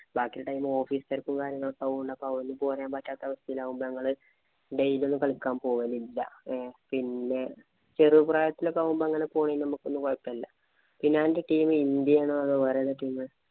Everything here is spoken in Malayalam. ബാക്കി സമയം office ഉം, തിരക്കും ആവുമ്പം അപ്പം ഒന്നും പോരാന്‍ പറ്റാത്ത അവസ്ഥയിലാവുമ്പോ ഞങ്ങള് daily ഒന്നും കളിക്കാന്‍ പോവലില്ല. ഏ പിന്നെ ചെറുപ്രായത്തിലൊക്കെ ആവുമ്പോ അങ്ങനെ പോണതിന് ഒക്കെ നമക്ക് കൊഴപ്പമില്ല. പിന്നെ അന്‍റെ team ഇന്‍ഡ്യയാണോ, വേറെ ഏതാ team